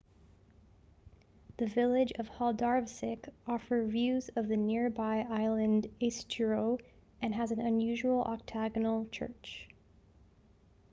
the village of haldarsvík offer views of the nearby island eysturoy and has an unusual octagonal church